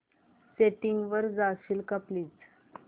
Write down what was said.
settings वर जाशील का प्लीज